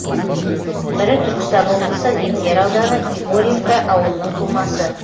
бірі түркістан облысы ленгер ауданы егорьевка ауылының тумасы